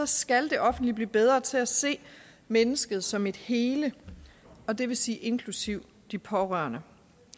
skal det offentlige blive bedre til at se mennesket som et hele og det vil sige inklusive de pårørende